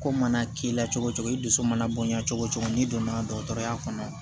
Ko mana k'i la cogo cogo i dusu mana bonya cogo cogo n'i donna dɔgɔtɔrɔya kɔnɔ